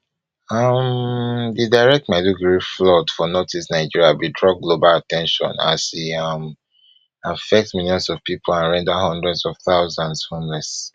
um di recent maiduguri flood for northeast nigeria bin draw global at ten tion as e um affect millions of pipo and render hundreds of thousand homeless